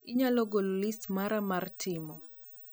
inyalo golo list mara mar timo